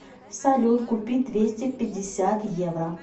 салют купить двести пятьдесят евро